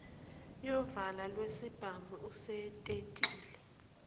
yovalo lwesibhamu usetetile